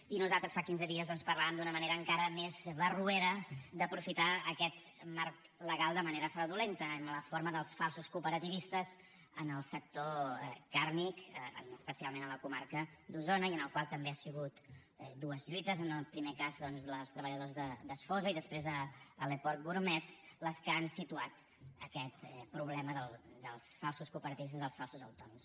i nosaltres fa quinze dies doncs parlàvem d’una manera encara més barroera d’aprofitar aquest marc legal de manera fraudulenta en la forma dels falsos cooperativistes en el sector carni especialment a la comarca d’osona i en el qual també han sigut dues lluites en el primer cas doncs els treballadors d’esfosa i després a le porc gourmet les que han situat aquest problema dels falsos cooperativistes dels falsos autònoms